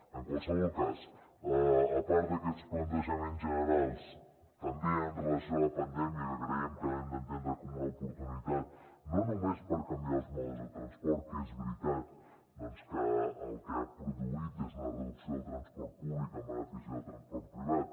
en qualsevol cas a part d’aquests plantejaments generals també amb relació a la pandèmia que creiem que l’hem d’entendre com una oportunitat no només per canviar els modes de transport que és veritat que el que ha produït és una reducció del transport públic en benefici del transport privat